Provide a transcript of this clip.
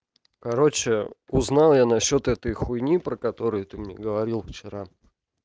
короче узнал я на счёт этой хуйни про которые ты мне говорил вчера